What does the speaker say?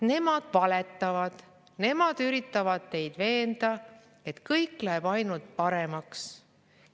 Nemad valetavad, nemad üritavad teid veenda, et kõik läheb ainult paremaks.